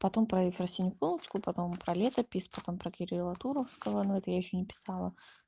потом про ефросинью полоцкую потом про летопись потом про кирилла туровского но это я ещё не писала